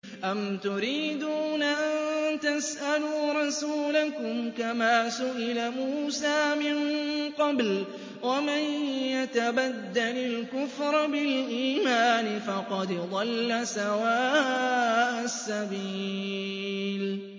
أَمْ تُرِيدُونَ أَن تَسْأَلُوا رَسُولَكُمْ كَمَا سُئِلَ مُوسَىٰ مِن قَبْلُ ۗ وَمَن يَتَبَدَّلِ الْكُفْرَ بِالْإِيمَانِ فَقَدْ ضَلَّ سَوَاءَ السَّبِيلِ